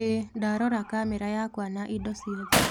ĩĩ, ndarora kamera yakwa na indo ciothe.